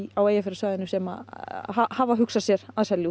á Eyjafjarðarsvæðinu sem hafa hugsað sér að selja út